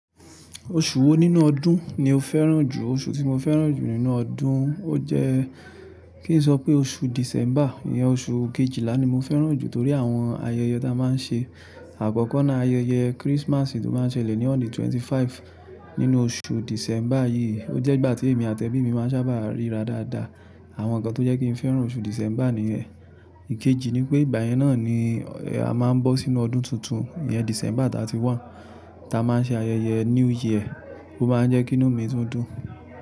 Oṣù wo nínú ọdún ni o fẹ́ràn jù? Oṣù tí mo fẹ́ràn jù nínú ọdún, o jẹ́ kí n sọ pé oṣù December, ìyẹn oṣù kejìlá ni mo fẹ́ràn jù torí àwọn ayẹyẹ ta máa ń ṣe. Àkọ́kọ́ na ayẹyẹ Christmas tó máa ń ṣẹlẹ̀ ní òn the 25 nínú oṣù December yìí. O jẹ́ ìgbà tí èmi àti ẹbí mi máa ń sábà ríra dáadáa. Àwọn nǹkan tó jẹ́ kí n fẹ́ràn oṣù December nìyẹn. Ìkejì ni pé ìgbà yẹn náà ni a máa ń bọ́ sínú ọdún tuntun. Ìyẹn December thirty one, ta máa ń ṣe ayẹyẹ New Year. Ó máa ń jẹ́ kí inú mi túndún.